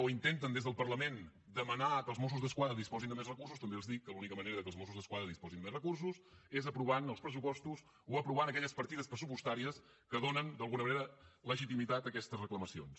o intenten des del parlament demanar que els mossos d’esquadra disposin de més recursos també els dic que l’única manera que els mossos d’esquadra disposin de recursos és aprovant els pressupostos o aprovant aquelles partides pressupostàries que donen d’alguna manera legitimitat a aquestes reclamacions